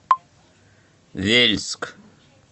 вельск